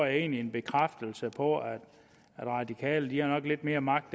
en bekræftelse på at radikale nok har lidt mere magt